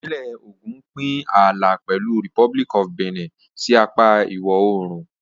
Ìpínlẹ̀ Ògùn ń pín ààlà pẹ̀lú Republic of Benin sí apá ìwọ̀-oòrùn.